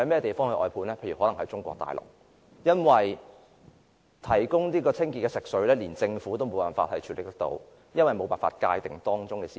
答案可能是中國大陸，因為政府無法界定牽涉的私有產權，因此無法提供清潔食水。